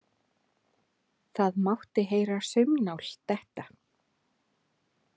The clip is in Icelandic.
Það mátti heyra saumnál detta.